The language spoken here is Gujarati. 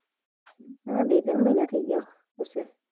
ના બે ત્રણ મીના થાય ગયા અત્યારે